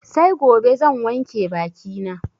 Sai gobe zan wanke baki na